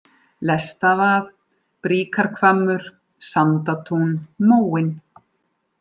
Lestavað, Bríkarhvammur, Sandatún, Móinn